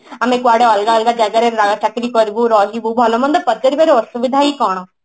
ଆମେ କୁଆଡେ ଅଲଗା ଅଲଗା ଜାଗାରେ ନୟା ଚାକିରୀ କରିବୁ ରହିବୁ ଭଲ ମନ୍ଦ ପଚାରିବାର ହିଁ ଅସୁବିଧା କଣ